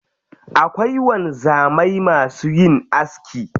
Akwai wanzamai masu yin aski.